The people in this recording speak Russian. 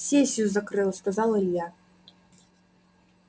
сессию закрыл сказал илья